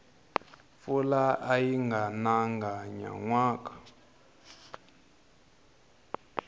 mpfula ayi nanga nyanwaka